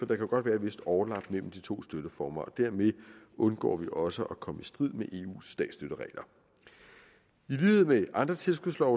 der kan godt være et vist overlap mellem de to støtteformer dermed undgår vi også at komme i strid med eus statsstøtteregler i lighed med andre tilskudslove